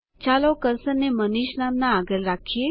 ચાલો કર્સરને મનીષ નામના આગળ રાખીએ